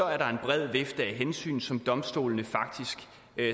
er der en bred vifte af hensyn som domstolene faktisk